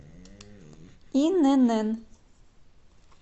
инн